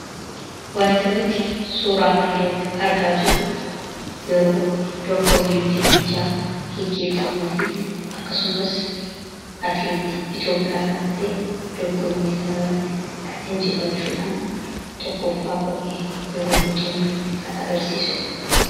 Wanti nuti suuraa kana irratti argaa jirru yeroo dorgommii fiigichaa geeggeeffamuu fi akkasumas atileetii Itoopiyaa kan ta'e dorgommii kana irratti injifachuudhaan tokkoffaa ba'ee yeroonni xumure kan agarsiisuudha.